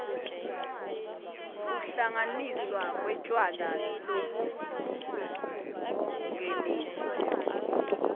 kuhlanganiswa kwetjwala lobungeniswe